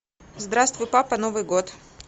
здравствуй папа новый год